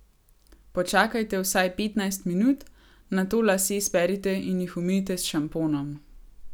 Počakajte vsaj petnajst minut, nato lase sperite in jih umijte s šamponom.